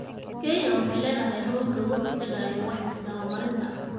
Kenya waxay leedahay habab looga hortagayo wax isdaba marinta.